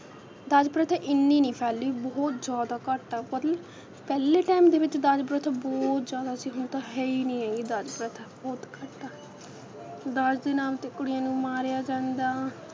ਦਾਜ ਪ੍ਰਥਾ ਐਨੀ ਨਹੀਂ ਫੈਲੀ ਬਹੁਤ ਜ਼ਿਆਦਾ ਘੱਟ ਆ, ਮਤਲਬ ਪਹਿਲੇ time ਦੇ ਵਿੱਚ ਦਾਜ ਪ੍ਰਥਾ ਬਹੁਤ ਜ਼ਿਆਦਾ ਸੀ, ਹੁਣ ਤਾਂ ਹੈ ਈ ਨਹੀਂ ਹੈਗੀ ਦਾਜ ਪ੍ਰਥਾ ਬਹੁਤ ਘੱਟ ਆ ਦਾਜ ਦੇ ਨਾਮ 'ਤੇ ਕੁੜੀਆਂ ਨੂੰ ਮਾਰਿਆ ਜਾਂਦਾ,